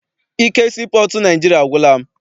Ike sii pọọtụ Naịjirịa agwụla m.